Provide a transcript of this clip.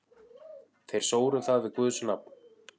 Þeir sóru það við guðs nafn.